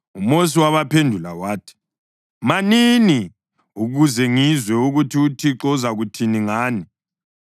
UMosi wabaphendula wathi, “Manini, ukuze ngizwe ukuthi uThixo uzakuthini ngani.”